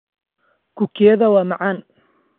Kukiyada waa macaan.